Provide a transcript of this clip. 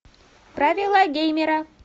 правила геймера